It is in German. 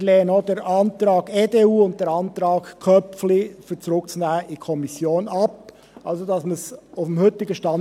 Wir lehnen auch den Antrag der EDU und den Antrag Köpfli – das Geschäft in die Kommission zurückzunehmen – ab.